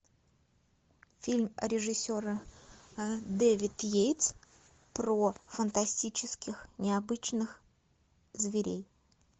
фильм режиссера дэвид йейтс про фантастических необычных зверей